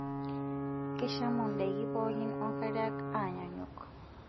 Keishamu ndaiki pookin onkariak aanyaanyuk?